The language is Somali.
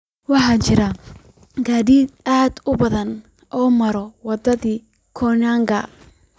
waxaa jira gaadiid aad u badan oo mara wadada koinange